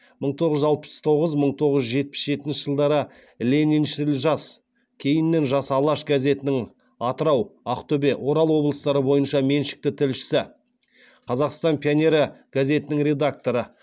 мың тоғыз жүз алпыс тоғыз мың тоғыз жүз жетпіс жетінші жылдары лениншіл жас газетінің атырау ақтөбе орал облыстары бойынша меншікті тілшісі қазақстан пионері газетінің редакторы